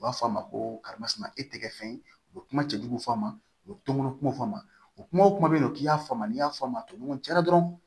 U b'a fɔ a ma ko karimasuma e tɛ kɛ fɛn u bɛ kuma cɛjugu f'a ma u bɛ toŋɔn kumaw fɔ a ma o kumaw bɛ yen nɔ k'i y'a faamu n'i y'a fɔ a ma ɲɔgɔn cɛ dɛ dɔrɔn